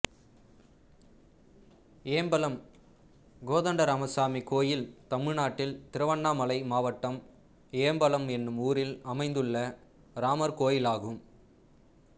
ஏம்பலம் கோதண்டராமசாமி கோயில் தமிழ்நாட்டில் திருவண்ணாமலை மாவட்டம் ஏம்பலம் என்னும் ஊரில் அமைந்துள்ள ராமர் கோயிலாகும்